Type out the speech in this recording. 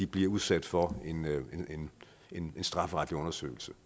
blive udsat for en strafferetlig undersøgelse